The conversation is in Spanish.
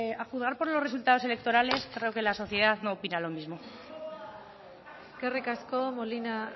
a juzgar por los resultados electorales creo que la sociedad no opina lo mismo eskerrik asko molina